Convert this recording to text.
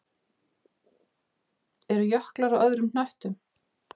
Eru jöklar á öðrum hnöttum?